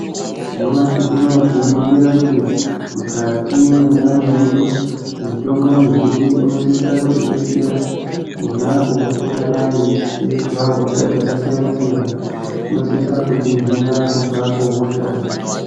Nyamushi unoo tinoringira kuti mukati mwendaramo yedu mitombo mizhinji inosisa kutidetsera ponapo patingadai teizwa hosha dzakasiyana-siyana. Inosisa kutihina kubva kuhosha.